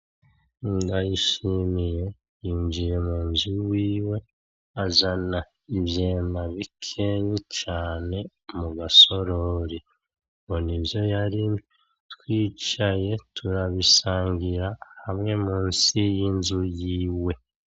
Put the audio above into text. Ndayishimiye yinjiye mu nzu iwiwe azana ivyema bikeyi cane mu masorori ngo nivyo yarimye, twicaye turabisangira hamwe munsi y'inzu yiwe.